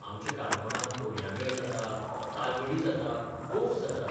आमच्या काणकोणांत तोणयां मेळ जाता, तालगडी जाता, गोफ जाता.